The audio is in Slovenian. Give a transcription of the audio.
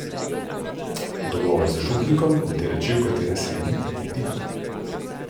Dogovor z župnikom in te reči, v katere se ni vtikal.